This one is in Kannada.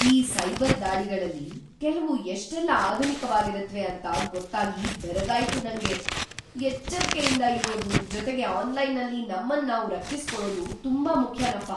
ಈ ಸೈಬರ್ ದಾಳಿಗಳಲ್ಲಿ ಕೆಲ್ವು ಎಷ್ಟೆಲ್ಲ ಆಧುನಿಕವಾಗಿರತ್ವೆ ಅಂತ ಗೊತ್ತಾಗಿ ಬೆರಗಾಯ್ತು ನಂಗೆ! ಎಚ್ಚರ್ಕೆಯಿಂದ ಇರೋದು, ಜೊತೆಗೆ ಆನ್‌ಲೈನಲ್ಲಿ ನಮ್ಮನ್ನ್ ನಾವು ರಕ್ಷಿಸ್ಕೊಳದು ತುಂಬಾ ಮುಖ್ಯನಪ.